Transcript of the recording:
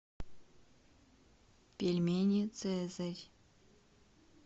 пельмени цезарь